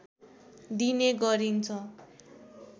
दिने गरिन्छ